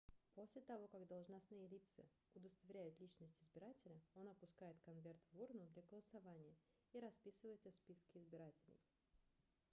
после того как должностные лица удостоверяют личность избирателя он опускает конверт в урну для голосования и расписывается в списке избирателей